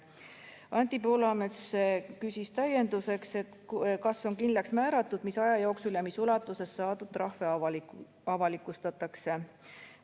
Anti Poolamets küsis täienduseks, kas on kindlaks määratud, mis aja jooksul ja mis ulatuses saadud trahve avalikustatakse.